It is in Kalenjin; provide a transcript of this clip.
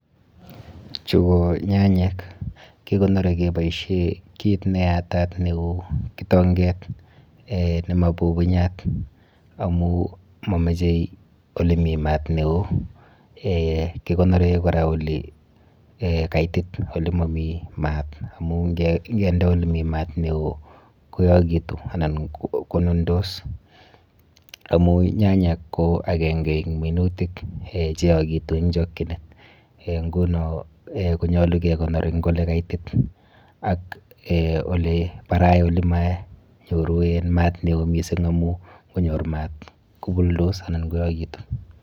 Chu ko nyanyek. Kikonori keboishe kit neyatat neu kitonket eh nemapupunyat amu mamoche olemi mat neo eh kikonore kora olekaitit olemami mat amu nkende olemi mat neo koyokitu anan konundos amu nyanyek ko akenke eng minutik eh cheyokitu eng chokchinet eh nguno konyolu kekonor eng olekaitit ak eh oleparai olemanyoru mat neo mising amu nkonyor mat kobuldos anan koyokitu.